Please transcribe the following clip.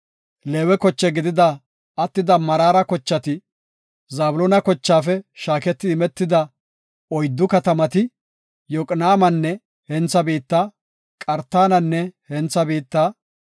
Leewe koche gidida attida Meraara kochati, Zabloona kochaafe shaaketi imetida oyddu katamati, Yoqnaamanne hentha biitta, Qartananne hentha biitta,